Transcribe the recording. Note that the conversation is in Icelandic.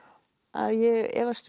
að ég efast